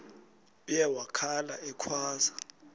uye wakhala ekhwaza